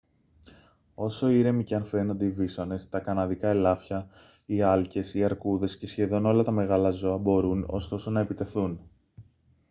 όσο ήρεμοι και αν φαίνονται οι βίσωνες τα καναδικά ελάφια οι άλκες οι αρκούδες και σχεδόν όλα τα μεγάλα ζώα μπορούν ωστόσο να επιτεθούν